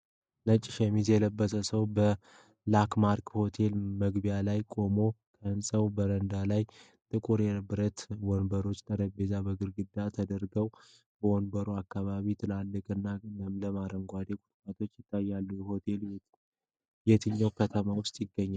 ነጭ ሸሚዝ የለበሰ ሰው በ'LAKEMARK HOTEL' መግቢያ ላይ ቆሟል። ከህንጻው በረንዳ ላይ ጥቁር የብረት ወንበሮችና ጠረጴዛዎች በግርግዳ ተደርድረዋል። በመግቢያው አካባቢ ትልቅና ለምለም አረንጓዴ ቁጥቋጦ ይታያል። ሆቴሉ የትኛው ከተማ ውስጥ ይገኛል?